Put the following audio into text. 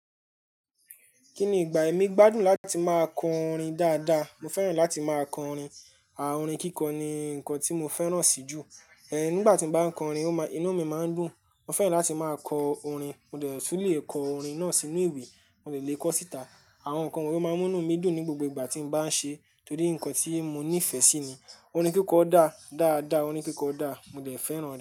Kí ni ìgbà, èmi gbádùn láti máa kọ orin dáadáa. Mo fẹ́ràn láti máa kọ orin. Àwọn orin kíkọ ni nǹkan tí mo fẹ́ràn sí jù. Ẹ̀n, nígbà tí mo bá ń kọ orin, ó máa-- inú mi máa ń dùn. Mo fẹ́ràn láti máa kọ orin. Mo lè tún lè kọ orin náà sínú ìwé, mo lè kọ síta. Àwọn nǹkan wọ̀nyí máa ń mú inú mi dùn ní gbogbo ìgbà tí mo bá ń ṣe é torí nǹkan tí mo nífẹ̀ẹ́ sí ni. Orin kíkọ dá, dáadáa, orin kíkọ dá, mo dẹ̀ fẹ́ràn rẹ̀.